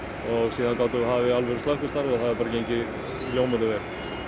síðan gátum við hafið slökkvistarf og það hefur gengið ljómandi vel